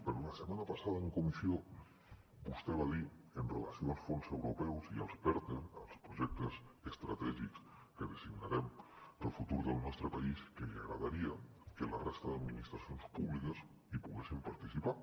però la setmana passada en comissió vostè va dir en relació amb els fons europeus i amb els perte els projectes estratègics que designarem per al futur del nostre país que li agradaria que la resta d’administracions públiques hi poguessin participar